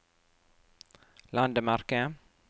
landemerke